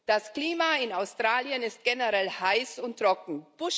Das Klima in Australien ist generell heiß und trocken.